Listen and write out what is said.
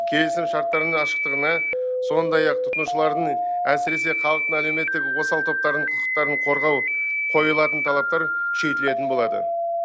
келісімшарттардың ашықтығына сондай ақ тұтынушылардың әсіресе халықтың әлеуметтік осал топтарының құқықтарын қорғау қойылатын талаптар күшейтілетін болады